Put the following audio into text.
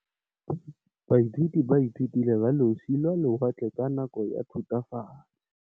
Baithuti ba ithutile ka losi lwa lewatle ka nako ya Thutafatshe.